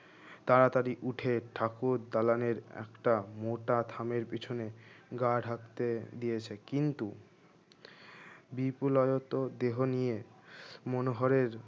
তাড়াতাড়ি উঠে ঠাকুর দালানের একটা মোটা খামের পিছনে গা ঢাকতে দিয়েছে কিন্তু বিপুল আয়ত্তের দেহ নিয়ে মনোহরের